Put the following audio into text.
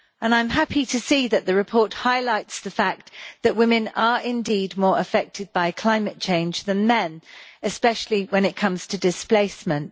I am happy to see that the report highlights the fact that women are indeed more affected by climate change than men, especially when it comes to displacement.